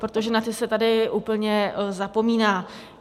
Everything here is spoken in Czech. Protože na ty se tady úplně zapomíná.